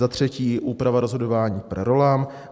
Za třetí úprava rozhodování per rollam.